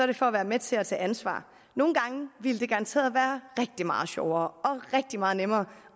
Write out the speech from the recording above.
det for at være med til at tage ansvar nogle gange ville det garanteret være rigtig meget sjovere og rigtig meget nemmere